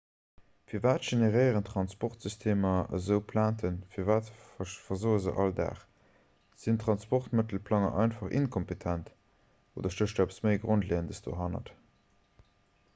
firwat generéieren transportsystemer esou plainten firwat versoe se all dag sinn transportmëttelplanger einfach inkompetent oder stécht do eppes méi grondleeëndes dohannert